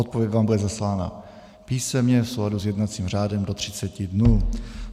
Odpověď vám bude zaslána písemně v souladu s jednacím řádem do 30 dnů.